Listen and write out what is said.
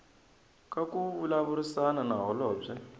ka ku vulavurisana na holobye